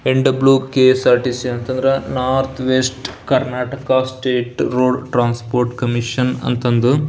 N W KSRTC ಅಂತ ಅಂದ್ರ north west Karnataka straight road transport commission ಅಂತ ಅಂದು.